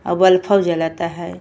अ बल्फो जलता है।